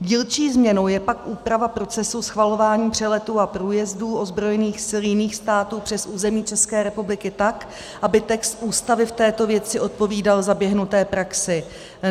Dílčí změnou je pak úprava procesů schvalování přeletů a průjezdů ozbrojených sil jiných států přes území České republiky tak, aby text Ústavy v této věci odpovídal zaběhnuté praxi.